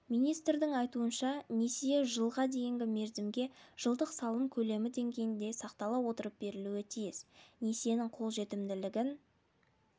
ауыл халқы үшін несие көлемін миллион теңгеге дейін көбейту қарастырылған бұл туралы премьер-министрі сағынтаевтың төрағалығымен өткен